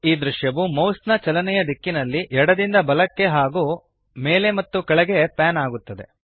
ಈ ದ್ರಶ್ಯವು ಮೌಸ್ ನ ಚಲನೆಯ ದಿಕ್ಕಿನಲ್ಲಿ ಎಡದಿಂದ ಬಲಕ್ಕೆ ಹಾಗೂ ಮೇಲೆ ಮತ್ತು ಕೆಳಗೆ ಪ್ಯಾನ್ ಆಗುತ್ತದೆ